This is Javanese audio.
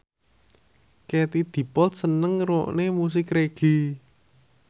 Katie Dippold seneng ngrungokne musik reggae